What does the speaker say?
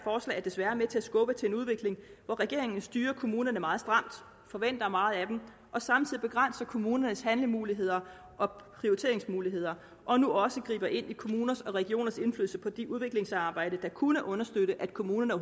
er desværre med til at skubbe til en udvikling hvor regeringen styrer kommunerne meget stramt forventer meget af dem og samtidig begrænser kommunernes handlemuligheder og prioriteringsmuligheder og nu også griber ind i kommuners og regioners indflydelse på det udviklingsarbejde der kunne understøtte at kommunerne